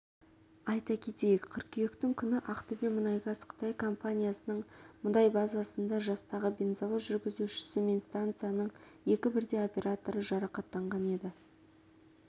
айта кетейік қыркүйектің күні ақтөбемұнайгаз қытай компаниясының мұнай базасында жастағы бензовоз жүргізушісі мен станцияның екі бірдей операторы жарақаттанған еді